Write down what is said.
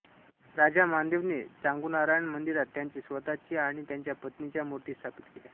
राजा मानदेवने चांगुनारायण मंदिरात त्याची स्वतःची आणि त्याच्या पत्नीच्या मूर्ती स्थापित केल्या